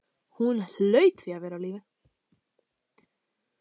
Hún hlaut því að vera á lífi.